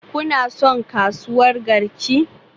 Kuna son kasuwar Garki?